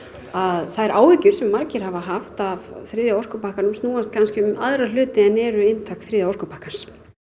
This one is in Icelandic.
að þær áhyggjur sem margir hafa haft af þriðja orkupakkanum snúast kannski um aðra hluti en eru inntak þriðja orkupakkans